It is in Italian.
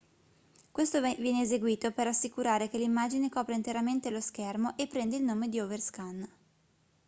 questo viene eseguito per assicurare che l'immagine copra interamente lo schermo e prende il nome di overscan